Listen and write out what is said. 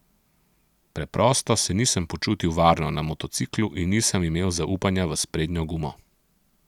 Preprosto se nisem počutil varno na motociklu in nisem imel zaupanja v sprednjo gumo.